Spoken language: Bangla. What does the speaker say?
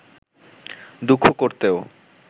দুঃখ করতেও